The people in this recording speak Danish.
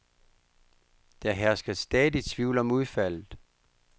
Der hersker stadig tvivl om udfaldet.